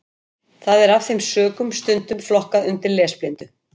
Það er af þeim sökum stundum flokkað undir lesblindu.